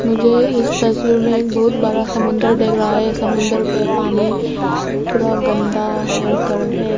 मुझे इस तस्वीर में एक बहोत बड़ा समुंदर दिख रहा है समुंदर के पानी पूरा गंदा होकर है।